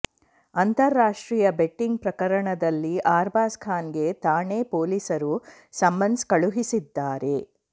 ಅಂತರಾಷ್ಟ್ರೀಯ ಬೆಟ್ಟಿಂಗ್ ಪ್ರಕರಣದಲ್ಲಿ ಅರ್ಬಾಜ್ ಖಾನ್ ಗೆ ಠಾಣೆ ಪೊಲೀಸರು ಸಮನ್ಸ್ ಕಳುಹಿಸಿದ್ದಾರೆ